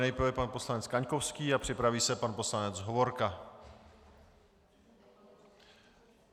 Nejprve pan poslanec Kaňkovský a připraví se pan poslanec Hovorka.